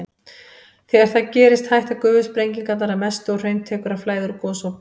Þegar það gerist hætta gufusprengingarnar að mestu og hraun tekur að flæða úr gosopinu.